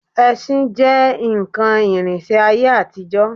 Ẹṣin jẹ́ nǹkan ìrìnsẹ̀ ayé àtijọ́